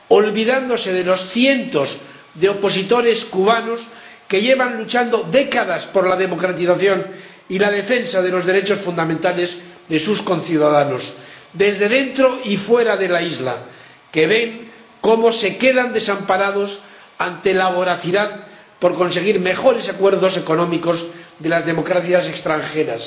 olvidándose de los cientos de opositores cubanos que llevan luchando décadas por la democratización y la defensa de los derechos fundamentales de sus conciudadanos, desde dentro y fuera de la isla, que ven cómo se quedan desamparados ante la voracidad por conseguir mejores acuerdos económicos de las democracias extranjeras.